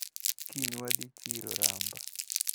Kiny wadhi chiro Ramba.